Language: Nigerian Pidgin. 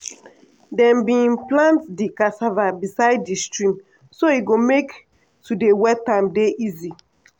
dem bin plant di cassava beside di stream so e go make to dey wet am dey easy.